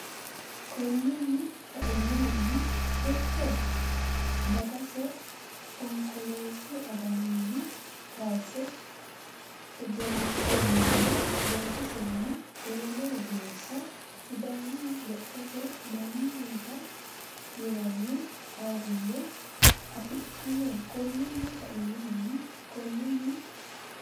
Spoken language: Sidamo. Konninni kainohunni techo dagase Onkoleessu aganinni kayisse egennosenninna loosisenni ewelo geeshsha Sidaamu Lophote Maamarira yinanni ayirrinye afidhino Konninni kainohunni Konninni.